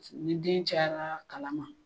Ni den cayara kalan ma,